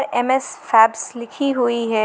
M S Fabs लिखी हुई है।